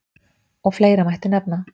Og fleira mætti nefna.